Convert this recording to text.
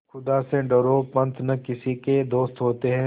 खुदा से डरो पंच न किसी के दोस्त होते हैं